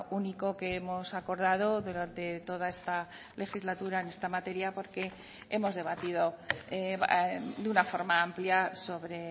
único que hemos acordado durante toda esta legislatura en esta materia porque hemos debatido de una forma amplia sobre